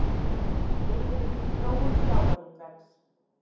Yfirlit um þróun sjávarútvegs.